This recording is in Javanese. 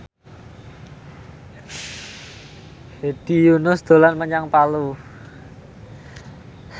Hedi Yunus dolan menyang Palu